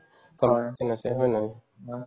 হয়, ঠিক আছে হয় নে নহয়